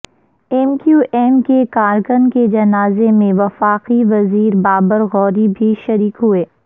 M Q M کے کارکن کے جنازے میں وفاقی وزیر بابر غوری بھی شریک ہوئے